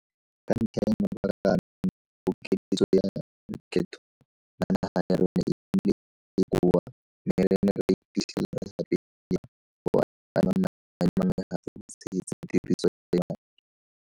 Ka ntlha ya mabaka ano, pokeletso ya lekgetho la naga ya rona e nnile e e bokoa mme re ne ra iphitlhela re gapeletsega go adima madi a mangwe gape go tshegetsa tiriso ya madi.